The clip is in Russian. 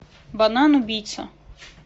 банан убийца